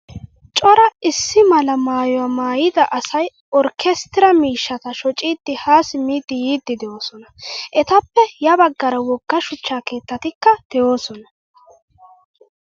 Cora issi mala maayuwaa maayida asay orkkestiraa miishshata shoccidi ha simidi yiidi deosona. Etappe ya baggaara wogga shuchcha keettatikka deosona.